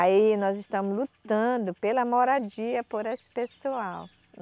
Aí nós estamos lutando pela moradia, por esse pessoal.